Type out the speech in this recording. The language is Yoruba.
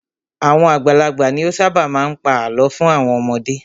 Àwọn àgbàlagbà ni ó ṣábà má a ń pa àlọ́ fún àwọn ọmọdé.